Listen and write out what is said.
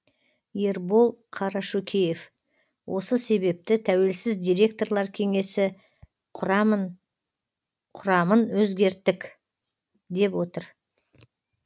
ербол қарашөкеев осы себепті тәуелсіз директорлар кеңесі құрамын өзгерттік деп отыр